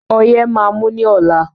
Ọyé máa mú ní ọ̀la.